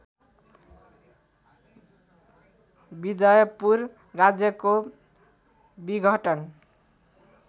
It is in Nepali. विजयपुर राज्यको विघटन